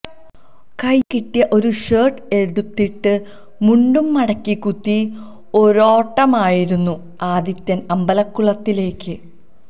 കയ്യിൽ കിട്ടിയ ഒരു ഷർട്ട് എടുത്തിട്ട് മുണ്ടും മടക്കി കുത്തി ഒരോട്ടമായിരുന്നു ആദിത്യൻ അമ്പലകുളത്തിലേക്ക്